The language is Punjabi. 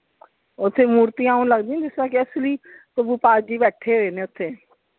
ਓਥੇ ਮੂਰਤੀਆਂ ਆਉਂ ਲਗਦੀਆਂ ਜਿਸਤਰਾਂ ਕਿ ਅਸਲੀ ਪ੍ਰਭੂ ਪਾਲ ਜੀ ਬੈਠੇ ਹੋਏ ਨੇ।